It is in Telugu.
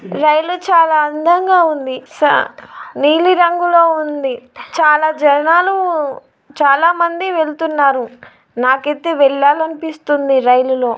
రైలు చాలా అందంగా ఉంది. స నీలిరంగులో ఉంది. చాలా జనాలు చాలా మంది వెళ్తున్నారు. నాకైతే వెళ్లాలనిపిస్తుంది రైలులో.